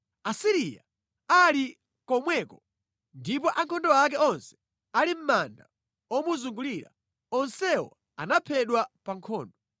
“Asiriya ali komweko ndipo ankhondo ake onse ali mʼmanda omuzungulira. Onsewo anaphedwa pa nkhondo.